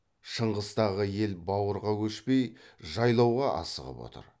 шыңғыстағы ел бауырға көшпей жайлауға асығып отыр